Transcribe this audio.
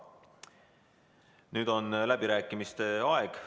Nüüd on läbirääkimiste aeg.